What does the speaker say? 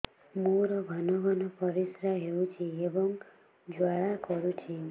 ମୋର ଘନ ଘନ ପରିଶ୍ରା ହେଉଛି ଏବଂ ଜ୍ୱାଳା କରୁଛି